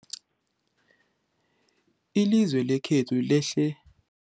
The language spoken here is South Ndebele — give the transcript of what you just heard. Ilizwe lekhethu lehlele